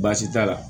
Baasi t'a la